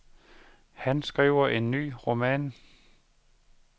Han skriver en ny roman.